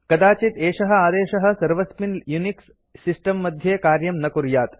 कदाचित् एषः आदेशः सर्वस्मिन् यूनिक्स सिस्टम् मध्ये कार्यं न कुर्यात्